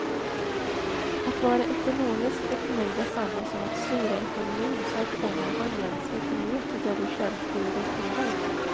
Att vara ekonomisk är för mig detsamma som att styra ekonomin så att pengarna används lite mer till det som du själv prioriterar.